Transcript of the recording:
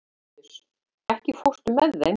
Líus, ekki fórstu með þeim?